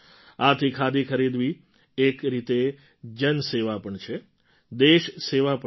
આથી ખાદી ખરીદવી એક રીતે જનસેવા પણ છે દેશ સેવા પણ છે